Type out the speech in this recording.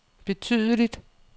betydeligt